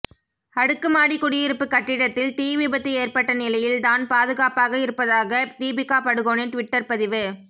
அடுக்குமாடிக் குடியிருப்புக் கட்டிடத்தில் தீ விபத்து ஏற்பட்ட நிலையில் தான் பாதுகாப்பாக இருப்பதாக தீபிகா படுகோனே டிவிட்டர் பதிவு